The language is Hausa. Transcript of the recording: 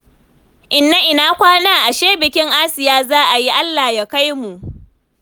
Inna ina kwana? Ashe bikin Asiya za a yi? Allah ya kai mu